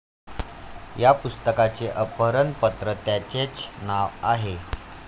या पुस्तकाचे अर्पण पत्र त्यांचेच नाव आहे